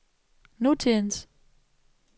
nutidens